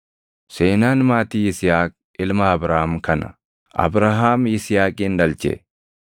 Seenaan maatii Yisihaaq ilma Abrahaam kana. Abrahaam Yisihaaqin dhalche;